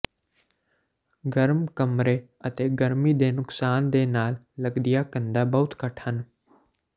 ਗਰਮ ਕਮਰੇ ਅਤੇ ਗਰਮੀ ਦੇ ਨੁਕਸਾਨ ਦੇ ਨਾਲ ਲਗਦੀਆਂ ਕੰਧਾਂ ਬਹੁਤ ਘੱਟ ਹਨ